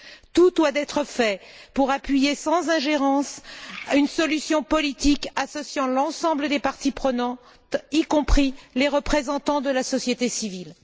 Tout doit être fait pour appuyer, sans ingérence, une solution politique associant l'ensemble des parties prenantes, y compris les représentants de la société civile.